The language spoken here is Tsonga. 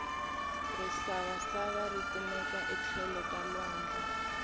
risavasava rikumeka etlhelo ka lwandle